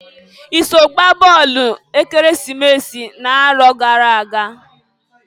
I so gbaa bọọlụ Ekeresimesi n'arọ gara aga?